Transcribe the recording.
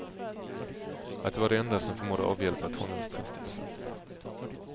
Att det var det enda som förmådde avhjälpa tonårstristessen.